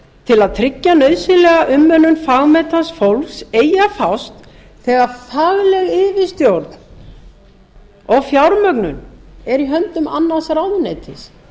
til að tryggja nauðsynlega mönnun fagmenntaðs fólks eigi að fást þegar fagleg yfirstjórn og fjármögnun er í höndum annars ráðuneytis því